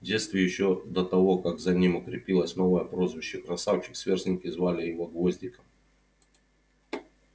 в детстве ещё до того как за ним укрепилось новое прозвище красавчик сверстники звали его гвоздиком